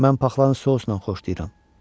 Mən paxlanı sousla xoşlayıram.